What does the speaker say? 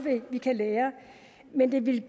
vi kan lære men det ville